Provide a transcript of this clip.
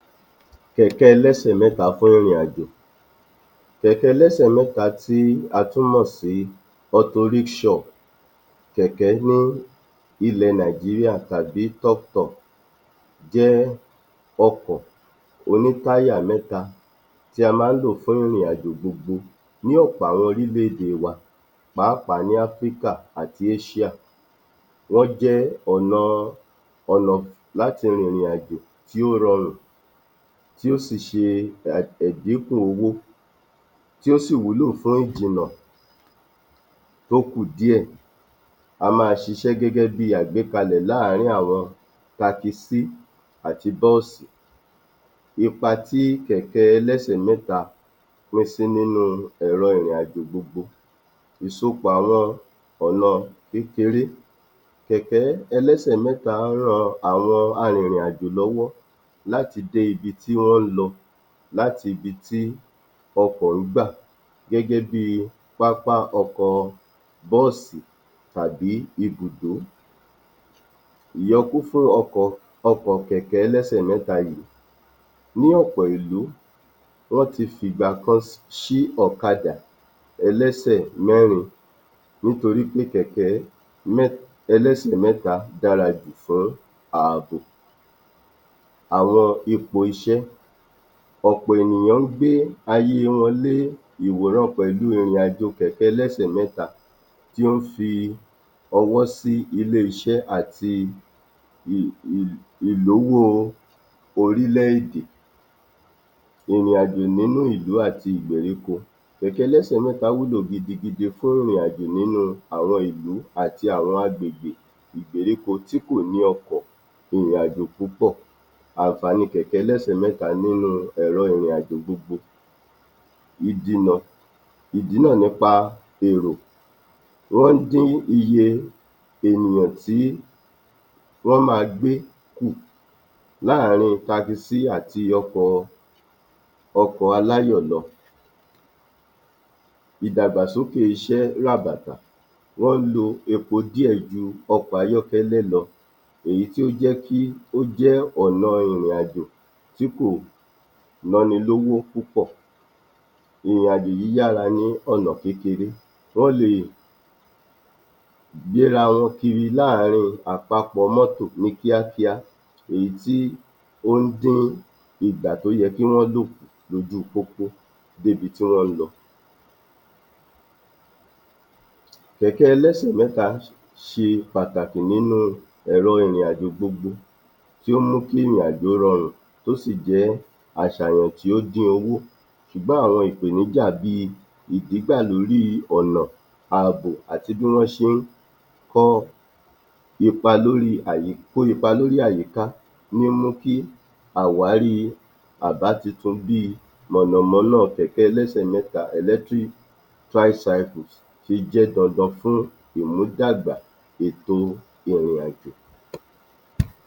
31. Kẹ̀kẹ́ ẹlẹ́sè mẹ́ta fún ìrìnàjò Kẹ̀kẹ́ ẹlẹ́sè mẹ́ta tí a tú mọ̀ sí motorizeshop, Kẹ̀kẹ́ ní ilẹ̀ Nàìjíríà tàbí toptop jẹ́ ọkọ̀ oní táyà mẹ́ta tí a máa ń lò fún ìrìnàjò gbogbo ní ọ̀pọ̀ àwọn orílẹ̀-èdè wa pàápàá ní Africa àti Asia, wọ́n jẹ́ ọ̀nà-an, ọ̀nà um láti rìnrìn-àjò tí ó rọrùn tí ó sì ṣe um ẹ̀díkù owó, tí ó sì wúlò fún ìjìnà tó kù díẹ̀, a máa ṣiṣẹ́ gẹ́gẹ́ bíi àgbékalẹ̀ láàárín àwọn takisí àti bọ́ọ̀sì. Ipa tí kẹ́kẹ́ ẹlẹ́sè mẹ́ta pín sí nínú ẹ̀rọ ìrìnàjò gbogbo Ìsopọ̀ àwọn ọ̀nà kékeré, kẹ́kẹ́ ẹlẹ́sè mẹ́ta ran àwọn arìnrìn-àjò lọ́wọ́ láti dé ibi tí wón ń lọ, látibi tí ọkọ̀ ń gbà gẹ́gẹ́ bíi pápá ọkọ̀ bọ́ọ̀sì tàbí ibùdó. Ìyọkún fún um ọkọ̀ kẹ́kẹ́ ẹlẹ́sè mẹ́ta yìí ní ọ̀pọ̀ ìlú wọ́n ti fìgbà kan um ṣí ọ̀kadà ẹlẹ́sè mẹ́rin nítorí pé kẹ́kẹ́ um ẹlẹ́sè mẹ́ta dára ju fún ààbò. Àwọn ipò iṣẹ́ Ọ̀pọ̀ àwọn ènìyàn ń gbé ayé wọn lé ìran pẹ̀lú ìrìn-àjò Kẹ̀kẹ́ ẹlẹ́sè mẹ́ta tí ó ń fi ọwọ́ sí ilé-iṣẹ́ àti [umum] ìlówó orílẹ̀-èdè Ìrìn-àjò nínú ìlú àti ìgbèríko Kẹ̀kẹ́ ẹlẹ́sè mẹ́ta wúlò gidigidi fún ìrìn-àjò nínú àwọn ìlú àti àwọn agbègbè ìgbèríko tí kò ní ọkọ̀ ìrìn-àjò púpọ̀ Àǹfààní kẹ̀kẹ́ ẹlẹ́sè mẹ́ta nínú ẹ̀rọ ìrìn-àjò gbogbo um ìdínà nípa èrò, wọn ń dín iye ènìyàn tí wọ́n máa gbé kù láàárín takisí àti ọkọ̀ọ, ọkọ̀ aláyọ̀ lọ. Ìdàgbàsókè iṣẹ́ ràbàtà Wọ́n ń lo epo díẹ̀ ju ọkọ̀ ayọ́kẹ́lẹ́ lọ, èyí tí ó jẹ́ kí ó jẹ́ ọ̀nà ìrìn-àjò tí kò báni lówó púpọ̀, ìrìn-àjò yíyára ní ọ̀nà kékeré, wọ́n lè gbéra wọn kiri láàárín àpapọ̀ Mọ́tò ní kíákíá, èyí tí ó ń dín ìgbà tó yẹ kí wọ́n lò kùn lójú pópó débi tí wọ́n ń lọ. Kẹ̀kẹ́ ẹlẹ́sè mẹ́ta ṣe pàtàkì nínú ẹ̀rọ ìrìn-àjò gbogbo tí ó mú kí ìrìn-àjò rọrùn tó sì jẹ́ àṣàyàn tí ó dín owó ṣùgbọ́n àwọn ìpèníjà bíi ìdígbà lórí ọ̀nà ààbò àti bí wọ́n ṣe ń kọ́ ipa lórí, kó ipa lórí àyíká mímú kí àwárí àbá titun bíi mọ̀nàmọ́ná kẹ̀kẹ́ ẹlẹ́sè mẹ́ta electric tricycles ṣe jẹ́ dandan fún ìmúdàgbà ètò ìrìn-àjò.